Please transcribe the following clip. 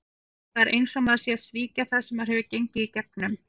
Það er eins og maður sé að svíkja það sem maður hefur gengið í gegnum.